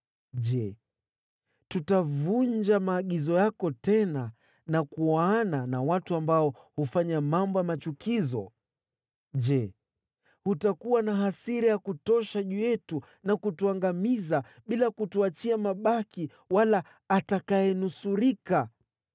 Je, tutavunja maagizo yako tena na kuoana na watu ambao hufanya mambo ya machukizo? Je, hutakuwa na hasira ya kutosha juu yetu na kutuangamiza, bila kutuachia mabaki wala atakayenusurika?